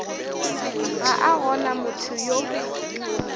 ga a gona motho yo